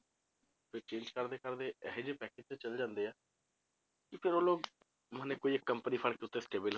ਫਿਰ change ਕਰਦੇ ਕਰਦੇ ਇਹ ਜਿਹੇ package ਤੇ ਚਲੇ ਜਾਂਦੇ ਆ, ਕਿ ਫਿਰ ਉਹ ਲੋਕ ਮਨੇ ਕੋਈ ਇੱਕ company ਫੜ ਕੇ ਉੱਥੇ stable